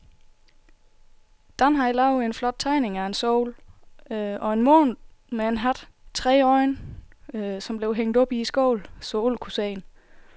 Dan havde lavet en flot tegning af en sol og en måne med hat og tre øjne, som blev hængt op i skolen, så alle kunne se den.